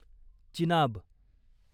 Chenab